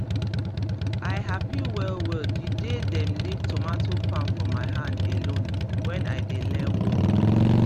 i happy well well the day dem leave tomato farm for my hand alone when i dey learn work